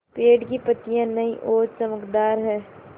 पेड़ की पतियां नई और चमकदार हैँ